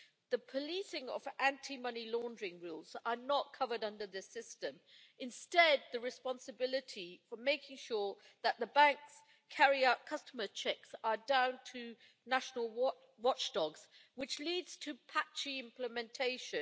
the policing of anti money laundering rules is not covered under this system. Instead the responsibility for making sure that the banks carry out customer checks is down to national watchdogs, which leads to patchy implementation.